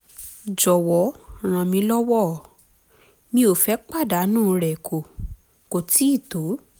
jọ̀wọ́ ràn mí lọ́wọ́; mi ò fẹ́ pàdánù rẹ̀ kò kò tíì tó